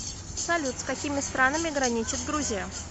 салют с какими странами граничит грузия